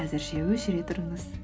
әзірше өшіре тұрыңыз